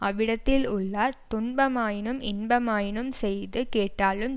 அவ்விடத்திலுள்ளார் துன்பமாயினும் இன்பமாயினும் செய்து கேட்டாலும்